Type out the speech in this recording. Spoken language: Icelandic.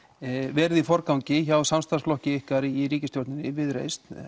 verið í forgangi hjá ykkur í ríkisstjórninni og Viðreisn